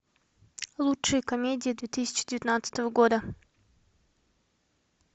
лучшие комедии две тысячи девятнадцатого года